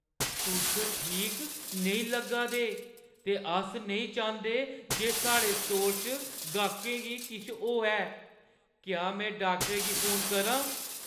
तुस बड़े ठीक नेईं लग्गा दे ते अस नेईं चांह्‌दे जे साढ़े स्टोर च गाह्कें गी किश होऐ। क्या मैं डाक्टरै गी फोन करां?